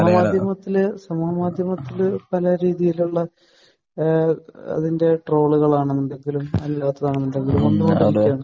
ആഹ്. ഞാൻ ആദ്യം മുതൽ സമൂഹമാധ്യമത്തിൽ പല രീതികളിലുള്ള ഏഹ് അതിന്റെ ട്രോളുകൾ കാണാറുണ്ട്.